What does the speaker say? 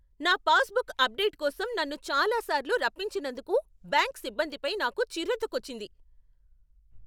నా passbook update కోసం నన్ను చాలాసార్లు రప్పించినందుకు బ్యాంక్ సిబ్బందిపై నాకు చిర్రెత్తుకొచ్చింది.